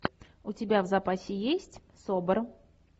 у тебя в запасе есть собр